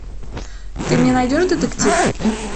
ты мне найдешь детектив